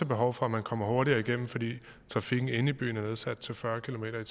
behov for at man kommer hurtigere igennem fordi trafikken inde i byen er nedsat til fyrre kilometer